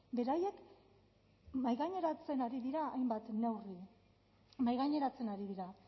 beraiek mahaigaineratzen ari dira hainbat neurri mahaigaineratzen ari dira